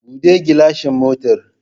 Buɗe gilashin motar